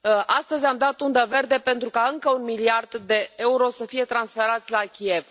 Astăzi am dat undă verde pentru ca încă un miliard de euro să fie transferați la Kiev.